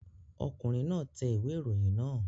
Ọkùnrin náà tẹ ìwé ìròyìn náà